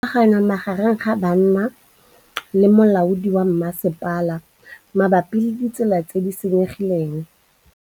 Go na le thulanô magareng ga banna le molaodi wa masepala mabapi le ditsela tse di senyegileng.